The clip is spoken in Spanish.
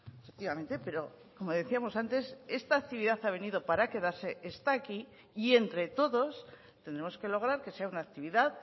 efectivamente pero como decíamos antes esta actividad ha venido para quedarse está aquí y entre todos tenemos que lograr que sea una actividad